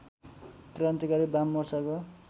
क्रान्तिकारी वाममोर्चाको